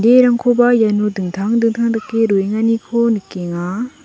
iano dingtang dingtang dake roenganiko nikenga.